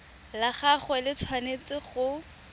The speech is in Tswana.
la gagwe le tshwanetse go